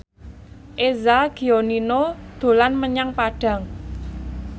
Eza Gionino dolan menyang Padang